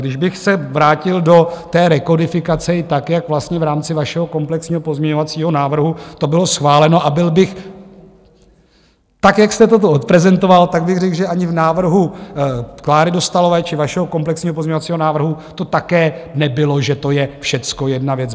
Když bych se vrátil do té rekodifikace i tak, jak vlastně v rámci vašeho komplexního pozměňovacího návrhu to bylo schváleno, a byl bych tak, jak jste toto odprezentoval, tak bych řekl, že ani v návrhu Kláry Dostálové či vašeho komplexního pozměňovacího návrhu to také nebylo, že to je všecko jedna věc.